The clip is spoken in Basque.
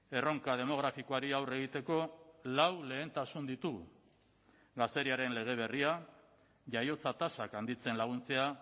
erronka demografikoari aurre egiteko lau lehentasun ditugu gazteriaren lege berria jaiotza tasak handitzen laguntzea